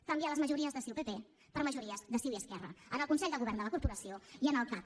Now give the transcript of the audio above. canviar les majories de ciu i pp per majories de ciu i esquerra en el consell de govern de la corporació i en el cac